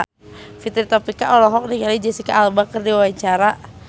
Fitri Tropika olohok ningali Jesicca Alba keur diwawancara